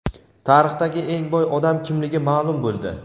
Tarixdagi eng boy odam kimligi ma’lum bo‘ldi.